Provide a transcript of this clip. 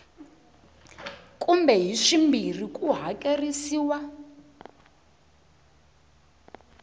kumbe hi swimbirhi ku hakerisiwa